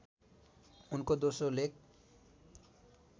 उनको दोस्रो लेख